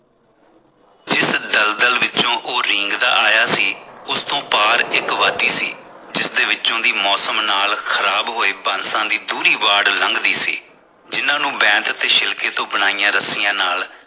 ਦਲ ਦਲ ਵਿੱਚੋ ਉਹ ਰੀਂਗਦਾ ਆਇਆ ਸੀ ਉਸ ਤੋਂ ਪਾਰ ਇਕ ਵਾਦੀ ਸੀ ਜਿਸਦੇ ਵਿੱਚੋ ਮੌਸਮ ਨਾਲ ਖ਼ਰਾਬ ਹੋਏ ਬਾਂਸਾ ਦੀ ਦੂਰੀ ਬਾੜ ਲੰਗਦੀ ਸੀ ਜਿਨ੍ਹਾਂ ਨੂੰ ਬੈਂਥ ਤੇ ਸ਼ਿਲਕੇ ਤੋਂ ਬਣਾਈਆਂ ਰੱਸੀਆਂ ਨਾਲ